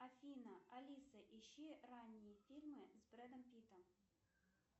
афина алиса ищи ранние фильмы с бредом питтом